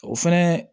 O fɛnɛ